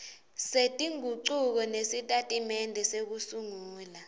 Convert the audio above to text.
setingucuko kusitatimende sekusungula